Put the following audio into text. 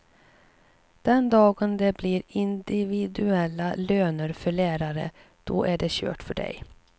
Den dagen det blir individuella löner för lärare, då är det kört för dig.